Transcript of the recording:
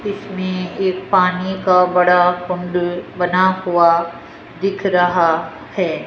इसमें एक पानी का बड़ा कुंडल बना हुआ दिख रहा है।